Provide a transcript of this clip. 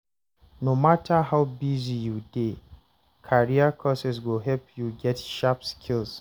No matter how busy you dey, career courses go help you get sharp skills.